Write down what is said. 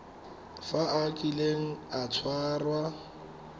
fa a kile a tshwarwa